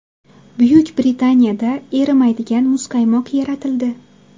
Buyuk Britaniyada erimaydigan muzqaymoq yaratildi.